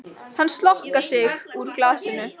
Hann slokrar í sig úr glasinu.